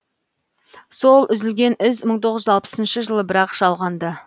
сол үзілген із мың тоғыз жүз алпысыншы жылы бірақ жалғанды